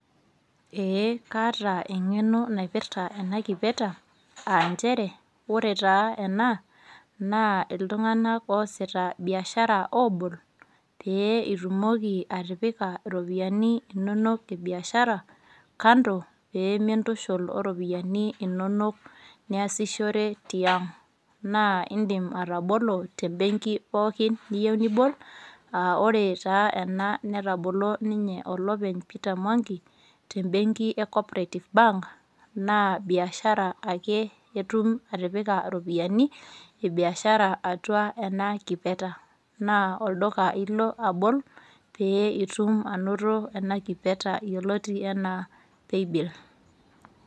Ee kaata engeno naipirta ena kipeta , aa nchere ore taa ena naa iltunganak oosita biashara obol pee itumoki atipika iropiyiani inonok e biashara kando pee mintushul oropiyiani inonok niasishore tiang. Naa indim atabolo te benki pookin niyieu nibol. Aa ore taa ena netabolo olopeny peter mwangi , te benki e cooperative bank .Naa biashara ake etum atipika iropiyiani e biashara atua ena kipeta . Naa olduka ilo abol , pee itum anoto ena kipeta yioloti anaa paybill .